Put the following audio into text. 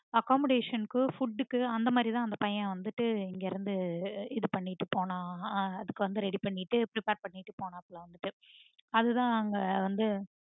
accommodation க்கு food க்கு அந்த மாதிரி தா அந்த பையன் வந்துட்டு இங்க இருந்து இது பண்ணிட்டு போனான் அதுக்கு வந்து ready பண்ணிட்டு prepare பண்ணிட்டு போனான் அதுத அங்க வந்துட்டு